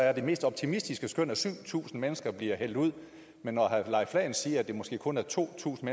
er det mest optimistiske skøn at syv tusind mennesker bliver hældt ud men når herre leif lahn jensen siger at det måske kun er to tusind